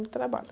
Muito trabalho.